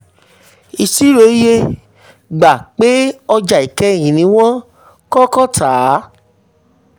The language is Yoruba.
iṣirò iye: gbà pé ọjà kẹ́yìn ni wọ́n kọ́kọ́ tà.